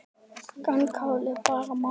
Grænkál er bara málið!